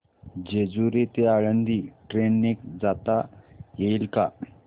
जेजूरी ते आळंदी ट्रेन ने जाता येईल का